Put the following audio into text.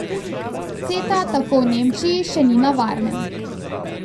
Ceta tako v Nemčiji še ni na varnem.